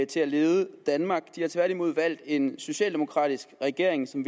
til at lede danmark de har tværtimod valgt en socialdemokratisk regering som